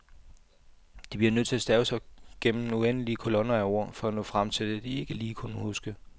De bliver nødt til at stave sig gennem uendelige kolonner af ord for at nå frem til det, de ikke lige kunne huske.